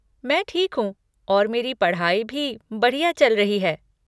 मैं ठीक हूँ और मेरी पढ़ाई भी बढ़िया चल रही है।